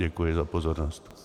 Děkuji za pozornost.